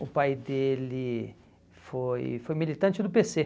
O pai dele foi foi militante do pê cê